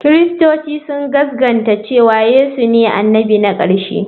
Kiristoci sun gaskata cewa Yesu ne annabi na ƙarshe.